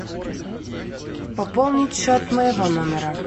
пополнить счет моего номера